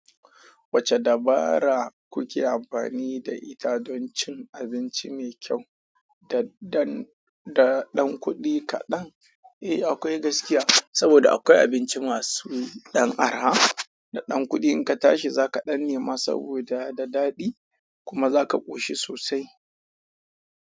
Wacce dabara kuke amfani da ita don cin abinci me kyau da dan da ɗan kuɗi kaɗan? Eh, akwai gaskiya saboda akwai abinci masu ɗan araha da ɗan kuɗi. In ka tashi, za ka ɗan nema saboda da daɗi kuma za ka ƙoshi sosai.